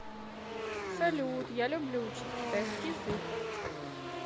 салют я люблю учить китайский язык